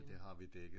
Det har vi dækket